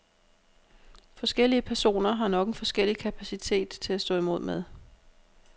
Forskellige personer har nok en forskellig kapacitet til at stå imod med.